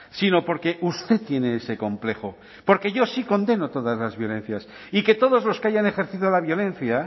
sino porque usted tiene ese complejo porque yo sí condeno todas las violencias y que todos los que hayan ejercido la violencia